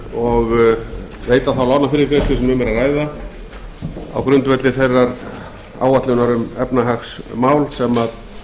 og veita þá lánafyrirgreiðslu sem um er að ræða á grundvelli þeirrar áætlunar um efnahagsmál sem